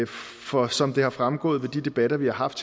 for som det er fremgået af de debatter vi har haft